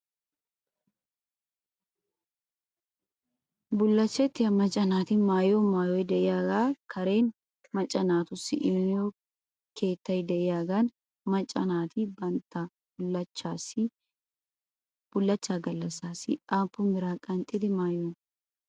Bulashettiyaa macca naati maayiyoo maayoy de'iyaagaa keran nacca naatussi immiyoo keettay de'iyaagan macca naati batta bullachchaa galassi aappun biraa qanxxidi maayiyoonaa?